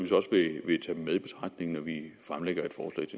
med i betragtning når vi fremlægger